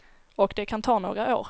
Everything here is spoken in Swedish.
Och det kan ta några år.